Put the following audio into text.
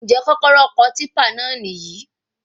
Njẹ kọ́kọ́rọ́ ọkọ̀ típà náà níyì?